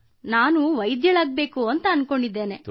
ಕೃತ್ತಿಕಾ ನಾನು ವೈದ್ಯಳಾಗಬಯಸುತ್ತೇನೆ